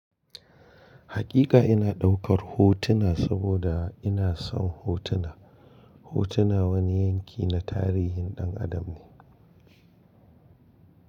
Hakika ina ɗaukar hotuna saboda ina son hotuna. Hotuna wani yanki na tarihin ɗan adam ne.